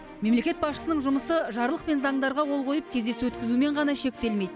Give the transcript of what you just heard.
мемлекет басшысының жұмысы жарлық пен заңдарға қол қойып кездесу өткізумен ғана шектелмейді